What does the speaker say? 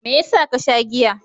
Me yasa ka sha giya?